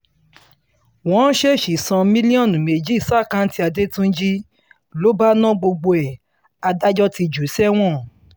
wọ́n ṣèèṣì san mílíọ̀nù méjì ṣàkáǹtì adẹ́túnjì ló bá na gbogbo ẹ̀ adájọ́ ti jù ú sẹ́wọ̀n